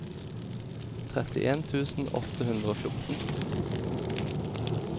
trettien tusen åtte hundre og fjorten